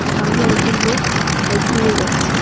সামনে একজন লোক সাইকেল নিয়ে যাচ্ছে।